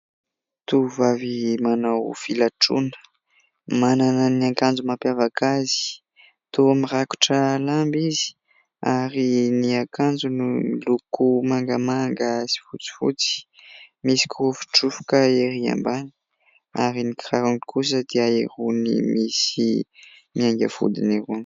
Tovovavy manao filatroana manana ny akanjo mampiavaka azy. Toa mirakotra lamba izy ary ny akanjony miloko mangamanga sy fotsifotsy. Misy kirofodrofoka ery ambany, ary ny kirarony kosa dia irony misy miainga vodiny irony.